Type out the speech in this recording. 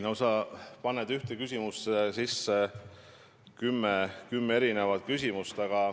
No sa paned ühte küsimusse kümme erinevat küsimust.